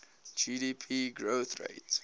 gdp growth rate